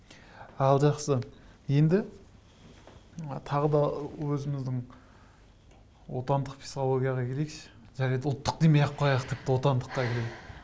ал жақсы енді тағы да өзіміздің отандық психологияға келейікші жарайды ұлттық демей ақ қояйық тіпті отандыққа келейік